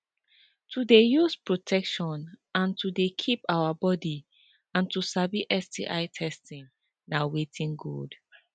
to they use protection and to they keep our body and to sabi sti testing na watin good